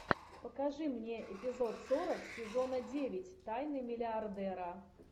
покажи мне эпизод сорок сезона девять тайны миллиардера